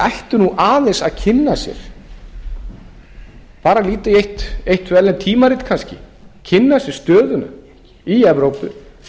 ættu nú aðeins að kynna sér bara líta í eitt tvö tímarit kannski kynna sér stöðuna í evrópu